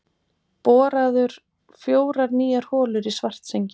Boraðar fjórar nýjar holur í Svartsengi.